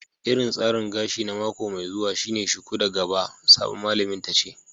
Irin tsarin gashi na mako mai zuwa shine shuku da gaba, sabon malamin tace.